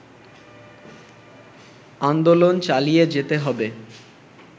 আন্দোলন চালিয়ে যেতে হবে